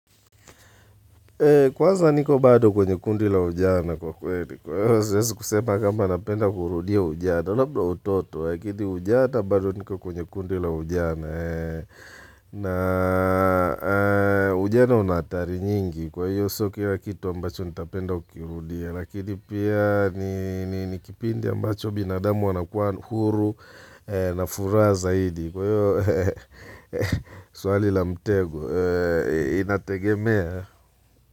Kwanza niko bado kwenye kundi la ujana kwa kweli kwa hio siezi kusema kama napenda kurudia ujana. Labda utoto yakini ujana bado niko kwenye kundi la ujana. Na ujana una atari nyingi kwa hiyo sio kila kitu ambacho nitapenda kukirudia. Lakini pia ni kipindi ambacho binadamu wanakuwa huru na furaha zaidi. Kwa hiyo swali la mtego inategemea.